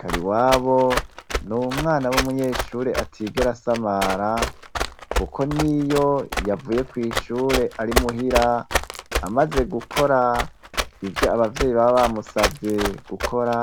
KARIWABO ni umwana w'umunyeshure atigera asamara kuko niyo yavuye kw'ishure ari muhira, amaze gukora ivyo abavyeyi baba bamusavye gukora,